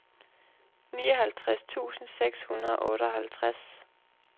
nioghalvtreds tusind seks hundrede og otteoghalvtreds